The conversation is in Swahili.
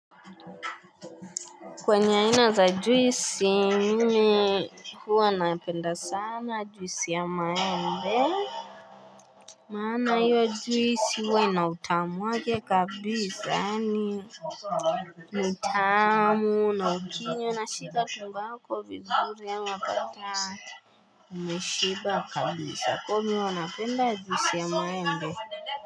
Kwenye za ajuisi, mimi hua napenda sana ajuisi ya maende. Mana yu ajuisi huwa na utamu wake kabisa. Ni tamu, na ukinywa na shika tumbo yako vizuri ama kata. Mme shiba kabisa. Kwa mi hua napenda ajuisi yamaende.